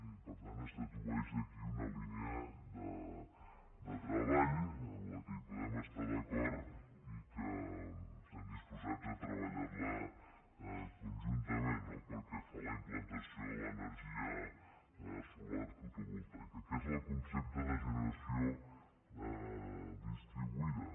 i per tant es dedueix d’aquí una línia de treball en la qual podem estar d’acord i que estem disposats a treballar conjuntament no pel que fa a la implantació de l’ener·gia solar fotovoltaica que és el concepte de generació distribuïda